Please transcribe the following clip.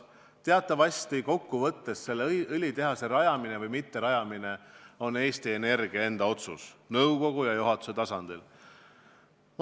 Teatavasti on selle õlitehase rajamine või mitterajamine kokkuvõttes Eesti Energia enda otsus nõukogu ja juhatuse tasandil.